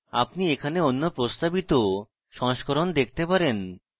আপনি এখানে অন্য প্রস্তাবিত সংস্করণ দেখতে পারেন